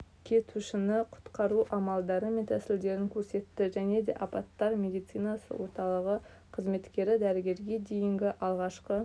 кетушіні құтқару амалдары мен тәсілдерін көрсетті және де апаттар медицинасы орталығы қызметкері дәрігерге дейінгі алғашқы